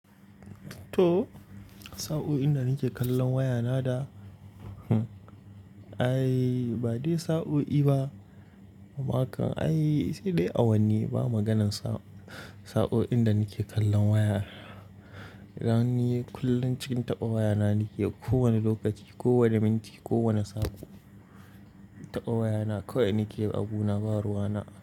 To, sa'o'in da nake kallon wayana da, ai ba dai sa'o'i ba. Ai sai dai awanni ba maganan saoi sa'o'in da nake kallon waya. Dan ni kullum cikin taɓa wayana nake, ko wane lokaci, kowane minti, kowane sa'o taɓa wayana. Kawai nake abu na ba ruwana.